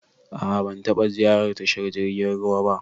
A'a ban taba ziyarar tashar jirgin ruwa ba.